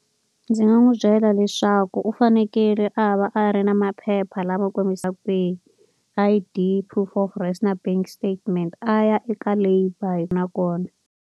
Ndzi nga n'wi byela leswaku u fanekele a va a ri na maphepha lama kombisaka kwihi. I_Di, proof of na bank statement a ya eka labour nakona.